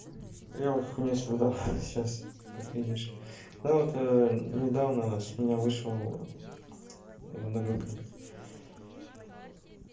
я вот хуйнёй страдаю ха-ха сейчас как видишь да вот недавно с меня вышел одногруппник